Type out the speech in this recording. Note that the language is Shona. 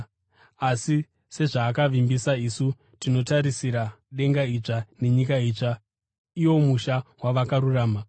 Asi sezvaakavimbisa, isu tinotarisira denga idzva nenyika itsva, iwo musha wavakarurama.